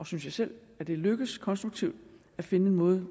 synes selv at det er lykkedes konstruktivt at finde en måde